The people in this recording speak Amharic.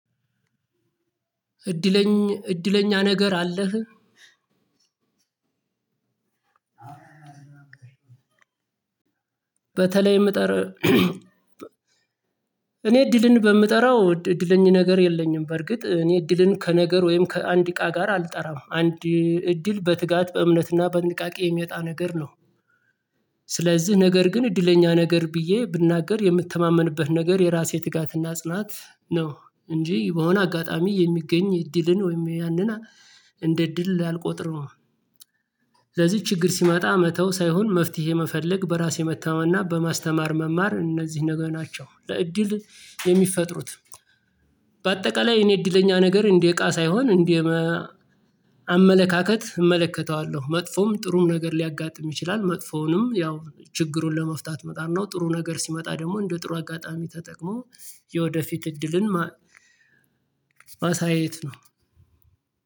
እድለኛ ነገር አለህ? በተለይ እኔ እድልን በምጠራው እድል ነገር የለኝም። በርግጥ እኔ እድልን ከነገር ወይም ከአንድ እቃ ጋር አልጠራም። አንድ እድል በትጋት፣ በእምነትና በጥንቃቄ የሚመጣ ነገር ነው። ስለዚህ ነገር ግን እድለኛ ነገር ብዬ ብናገር የምትተማመንበት ነገር የራሴ ትጋትና ጽናት ነው። እንጂ በሆነ አጋጣሚ የሚገኝ እድልን ወይም ያንን እንደ እድል አልቆጥርም። ለዚህ ችግር ሲመጣ መተው ሳይሆን መፍትሄ መፈለግ በራሴ መተማና በማስተማር መማር እነዚህ ነገሮች ናቸው። ለእድል የሚፈጥሩት በአጠቃላይ እኔ እድለኛ ነገር እንዴ እቃ ሳይሆን እንዴ አመለካከት እመለከተዋለሁ። መጥፎም ጥሩም ነገር ሊያጋጥም ይችላል። መጥፎውንም ያው ችግሩን ለመፍታት መጣር ነው። ጥሩ ነገር ሲመጣ ደግሞ እንደ ጥሩ አጋጣሚ ተጠቅሞ የወደፊት እድልን ማሳየት ነው።